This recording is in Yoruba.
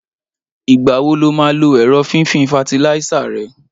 Ìgbáwó ló mà lò èró fifin fàtílíisá rẹ?